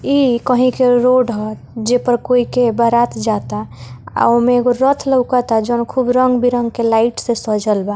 इ कही के रोड ह जे पर कोइ के बारात जाता अ औ में एगो रथ लोकता जोन खुब रंग-बिरंग के लाइट से सजल बा।